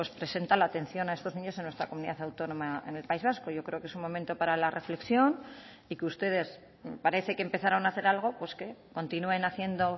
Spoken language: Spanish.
presenta la atención a estos niños en nuestra comunidad autónoma en el país vasco yo creo que es un momento para la reflexión y que ustedes parece que empezaron a hacer algo pues que continúen haciendo